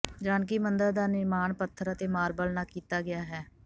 ਜਾਨਕੀ ਮੰਦਰ ਦਾ ਨਿਰਮਾਣ ਪੱਥਰ ਅਤੇ ਮਾਰਬਲ ਨਾਲ ਕੀਤਾ ਗਿਆ ਹੈ